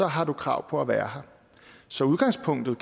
har du krav på at være her så udgangspunktet